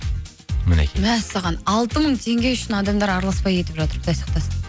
мінекей мәссаған алты мың теңге үшін адамдар араласпай кетіп жатыр құдай сақтасын